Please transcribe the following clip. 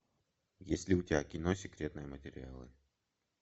есть ли у тебя кино секретные материалы